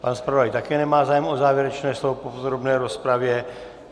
Pan zpravodaj také nemá zájem o závěrečné slovo k podrobné rozpravě.